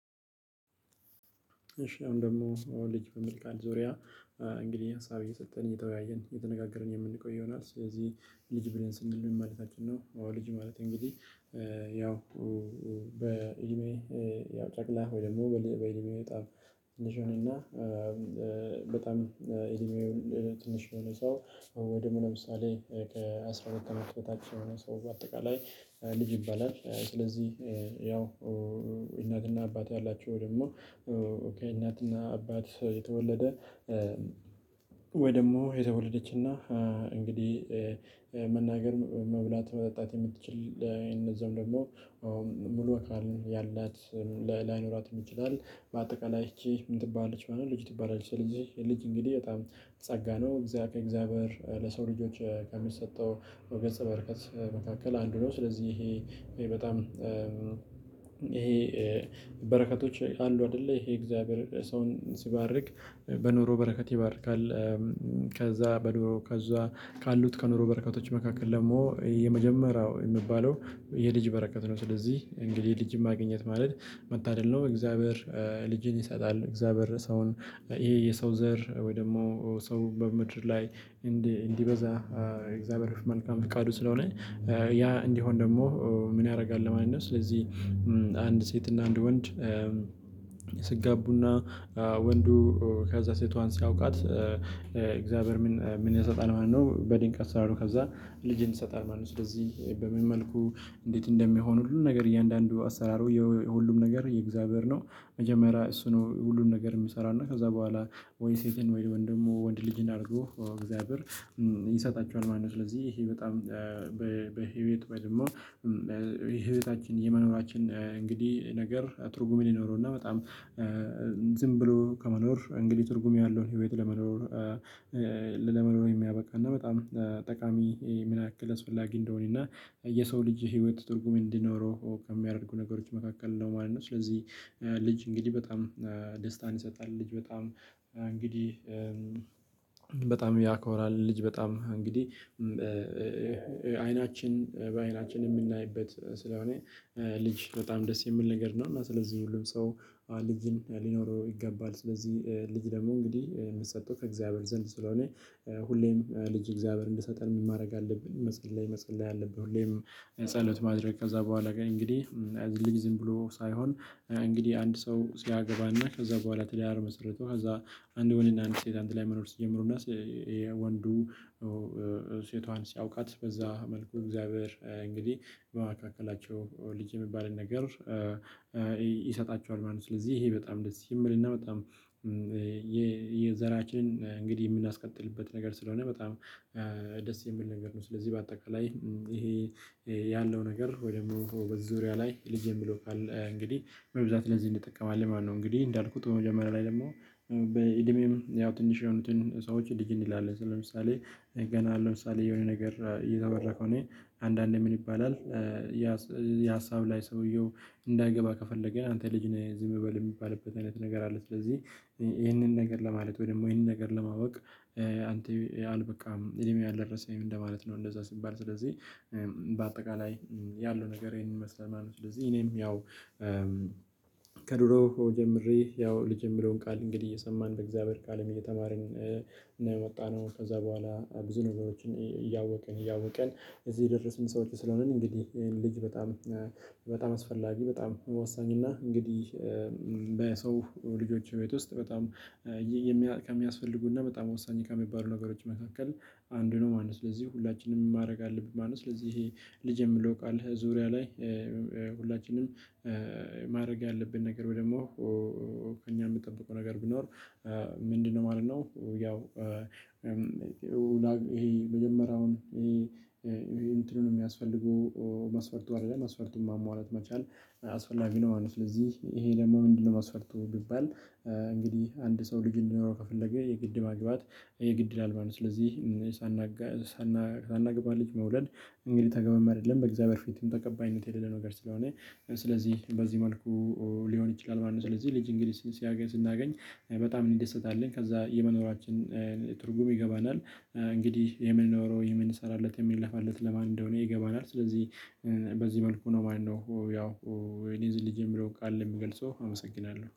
እሺ አሁን ደግሞ ሰው ልጅ በሚል ቃል ዙሪያ እንግዲህ ሀሳብ እየሰጠን እየተወያየን የተነጋገርን የምንቆይ ይሆናል። ስለዚህ ልጅ ብለን ስንል ምን ማለታችን ነው? አዎ ልጅ ማለት እንግዲህ ያው በእድሜ ያው ጨቅላ ወይ ደግሞ በልዩ በእድሜ በጣም ትንሽ የሆነ እና በጣም እድሜው ትንሽ የሆነ ሰው ወይ ደሞ ለምሳሌ ከአስራ አራት አመት በታች የሆነ ሰው በአጠቃላይ ልጅ ይባላል። ስለዚህ ያው እናትና አባት ያላቸው ወይ ደግሞ ከእናትና አባት የተወለደ ወይ ደግሞ የተወለደች እና እንግዲህ መናገር መብላት መጠጣት የምትችል እነዛም ደግሞ ሙሉ አካል ያላት ላይኖራትም ይችላል በአጠቃላይ እቺ ምን ትባላለች ማለት ነው። ልጅ ትባላለች ልጅ እንግዲህ በጣም ጸጋ ነው ከእግዚአብሔር ለሰው ልጆች ከሚሰጠው ገጸበርከት መካከል አንዱ ነው። ስለዚህ ይሄ በጣም ይሄ በረከቶች አንዱ አይደለ ይሄ የእግዚአብሔር ሰውን ሲባርክ በኑሮ በረከት ይባርካል። ከዛ በኑሮ ከዛ ካሉት ከኑሮ በረከቶች መካከል ደግሞ የመጀመሪያው የሚባለው የልጅ በረከት ነው። ስለዚህ እንግዲህ ልጅ የማገኘት ማለት መታደል ነው። እግዚአብሔር ልጅን ይሰጣል እግዚአብሔር ሰውን ይሄ የሰው ዘር ወይ ደግሞ ሰው በምድር ላይ እንዲበዛ የእግዚአብሔር መልካም ፍቃዱ ስለሆነ ያ እንዲሆን ደግሞ ምን ያረጋል ለማለት ነው። ስለዚህ አንድ ሴት እና አንድ ወንድ ሲጋቡ እና ወንዱ ከዛ ሴቷን ሲያውቃት እግዚአብሔር ምን ምን ይሰጣል ማለት ነው። በድንቅ አሰራሩ ከዛ ልጅን ይሰጣል ማለት ነው። ስለዚህ በምን መልኩ እንዴት እንደሚሆን ሁሉ ነገር እያንዳንዱ አሰራሩ የሁሉም ነገር የእግዚአብሔር ነው። መጀመሪያ እሱ ነው ሁሉን ነገር ሚሰራና ከዛ በኋላ ወይ ሴትን ወይ ደግሞ ወንድ ልጅን አርጎ እግዚአብሔር ይሰጣቸዋል ማለት ነው። ስለዚህ ይሄ በጣም በህይወት ወይም ደግሞ የህይወታችን የመኖራችን እንግዲህ ነገር ትርጉም ይኖረው። እና በጣም ዝም ብሎ ከመኖር እንግዲህ ትርጉም ያለውን ህይወት ለመኖር ለመኖር የሚያበቃ እና በጣም ጠቃሚ ምን ያክል አስፈላጊ እንደሆነ እና የሰው ልጅ ህይወት ትርጉም እንዲኖረው ከሚያደርጉ ነገሮች መካከል ነው ማለት ነው። ስለዚህ ልጅ እንግዲህ በጣም ደስታን ይሰጣል። ልጅ በጣም እንግዲህ በጣም ያኮራል ልጅ በጣም እንግዲህ አይናችን በአይናችን የምናይበት ስለሆነ ልጅ በጣም ደስ የምል ነገር ነው። እና ስለዚህ ሁሉም ሰው ልጅን ሊኖረው ይገባል። ስለዚህ ልጅ ደግሞ እንግዲህ ሚሰጠው ከእግዚአብሔር ዘንድ ስለሆነ ሁሌም ልጅ እግዚአብሔር እንዲሰጠን ማረግ አለብን መስጊድ ላይ መጸለይ አለብን። ሁሌም ጸሎት ማድረግ ከዛ በኋላ ግን እንግዲህ ልጅ ዝም ብሎ ሳይሆን እንግዲህ አንድ ሰው ሲያገባና ከዛ በኋላ ትዳር መሰርቶ ከዛ አንድ ወንድ እና አንድ ሴት አንድ ላይ መኖር ሲጀምሩና ወንዱ ሴቷን ሲያውቃት በዛ መልኩ እግዚአብሔር እንግዲህ በመካከላቸው ልጅ የሚባልን ነገር ይሰጣቸዋል ማለት ነው። ስለዚህ ይሄ በጣም ደስ የሚል እና በጣም የዘራችንን እንግዲህ ምናስቀጥልበት ነገር ስለሆነ በጣም ደስ የሚል ነገር ነው። ስለዚህ በአጠቃላይ ይሄ ያለው ነገር ወይ ደግሞ በዙሪያ ላይ ልጄ የሚለው ካለ እንግዲህ በብዛት ለዚህ እንጠቀማለን ማለት ነው። እንግዲህ እንዳልኩት በመጀመሪያ ላይ ደግሞ በእድሜም ያው ትንሽ የሆኑትን ሰዎች ልጅ እንላለን። ስለምሳሌ ገና ለምሳሌ የሆነ ነገር እየተወራ ከሆነ እኔ አንዳንዴ ምን ይባላል ያ ሀሳብ ላይ ሰውየው እንዳይገባ ከፈለገ አንተ ልጅ ነህ ዝም በል የሚባልበት አይነት ነገር አለ። ስለዚህ ይህንን ነገር ለማለት ወይ ደግሞ ይህንን ነገር ለማወቅ አንተ አልበቃም እድሜ አልደረሰም እንደ ማለት ነው። እንደዛ ሲባል ስለዚህ በአጠቃላይ ያለው ነገር ይሄንን ይመስላል ማለት ነው። ስለዚህ እኔም ያው ከድሮ ጀምሬ ያው ልጅ የምለውን ቃል እንግዲህ እየሰማን በእግዚአብሔር ቃልም እየተማርን የወጣነው ከዛ በኋላ ብዙ ነገሮችን እያወቅን እያወቅን እዚህ የደረስን ሰዎች ስለሆንን። እንግዲህ ይሄን ልጅ በጣም በጣም አስፈላጊ በጣም ወሳኝ እና እንግዲህ በሰው ልጆች ቤት ውስጥ በጣም ከሚያስፈልጉና በጣም ወሳኝ ከሚባሉ ነገሮች መካከል አንዱ ነው ማለት ነው። ስለዚህ ሁላችንም ምን ማረግ አለብን ማለት ነው። ጥሩ ስለዚህ ይሄ ልጅ የምለው ቃል ዙሪያ ላይ ሁላችንም ማድረግ ያለብን ነገር ወይ ደግሞ ከእኛ ሚጠብቀው ነገር ቢኖር ምንድን ነው ማለት ነው። ያው ይሄ መጀመሪያውን ይሄ እንትኑን ሚያስፈልጉ መስፈርቱ አይደለም መስፈርቱን ማሟላት መቻል አስፈላጊ ነው። ስለዚህ ይሄ ደግሞ ምንድን ነው? መስፈርቱ ቢባል እንግዲህ አንድ ሰው ልጅ እንዲኖረው ከፈለገ የግድ ማግባት የግድ ይላል ማለት ነው። ስለዚህ ሳናገባ ልጅ መውለድ እንግዲህ ተገቢም አይደለም በእግዚአብሔር ፊትም ተቀባይነት የሌለ ነገር ስለሆነ ስለዚህ በዚህ መልኩ ሊሆን ይችላል ማለት ነው። ስለዚህ ልጅ እንግሊዝ ሲያገኝ ስናገኝ በጣም እንዲደሰትአለን ከዛ የመኖራችን ትርጉም ይገባናል። እንግዲህ የምንኖረው የምንሰራለት የምንለፋለት ለማን እንደሆነ ይገባናል። ስለዚህ በዚህ መልኩ ነው። ማነው ያው እኔ ልጅ የምለው ቃል ምገልጸው አመሰግናለሁ